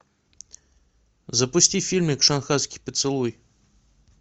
запусти фильмик шанхайский поцелуй